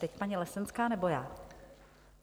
Teď paní Lesenská, nebo já?